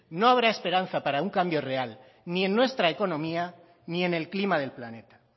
no habrá esperanza para un cambio real ni en nuestra economía ni en el clima del planeta